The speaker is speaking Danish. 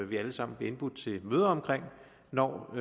vi alle sammen bliver indbudt til møde om når